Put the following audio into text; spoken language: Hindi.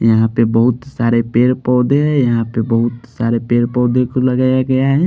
यहाँ पे बहुत सारे पेड़ पौधे हैं यहाँ पे बहुत सारे पेड़ पौधे को लगाया गया है।